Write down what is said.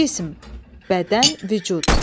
Cism, bədən, vücud.